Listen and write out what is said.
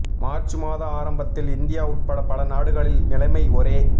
March மாத ஆரம்பத்தில் India உட்பட பல நாடுகளில் நிலைமை ஒரே